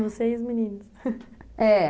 Vocês meninas, é